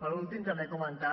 per últim també comentar